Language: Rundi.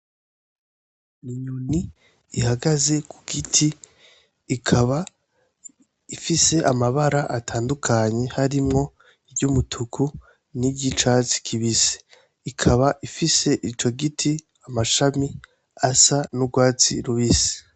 Inyoni ihagaze ku giti ikaba ifise amabara atandukanye harimwo iritukura niry'icatsi kibisi, ikaba ifise ico giti amashami asa n'urwatsi rubisi.